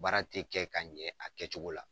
Baara te kɛ ka ɲɛ a kɛcogo la.